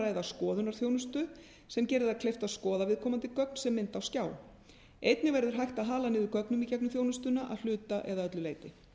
ræða skoðunarþjónustu sem gerir það kleift að skoða viðkomandi gögn sem mynd á skjá einnig verður hægt að hala niður gögnum í gegnum þjónustuna að hluta eða öllu leyti